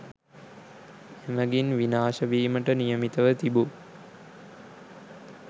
එමගින් විනාශ වීමට නියමිතව තිබූ